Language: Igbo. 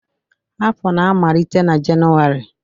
afọ na-amalite na Jenụwarị